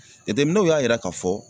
Jateminɛw y'a yira k'a fɔ